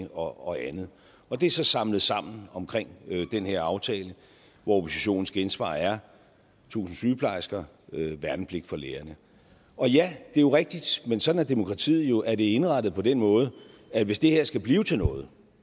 og andet og det er så samlet sammen omkring den her aftale hvor oppositionens gensvar er tusind sygeplejersker værnepligt for lægerne ja det er rigtigt men sådan er demokratiet jo at det er indrettet på den måde at hvis det her skal blive til noget